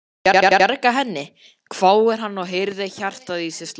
Bjarga henni? hváir hann og heyrir hjartað í sér slá.